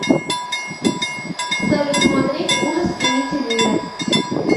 салют смотреть ужас амитивилля